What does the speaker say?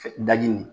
daji nin nin